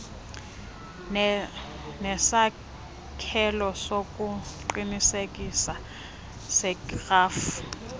nesakhelo sokuqinisekisa serhafu